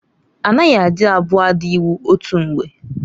Anaghị adị abụọ ada iwu otu mgbe.